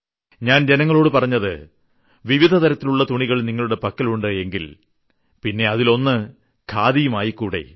ഞാൻ ജനങ്ങളോട് പറഞ്ഞു വിവിധതരങ്ങളിലുള്ള തുണികൾ നിങ്ങളുടെ പക്കൽ ഉണ്ട് എങ്കിൽ പിന്നെ ഒന്ന് ഖാദിയുടെയും ആയിരിക്കട്ടെ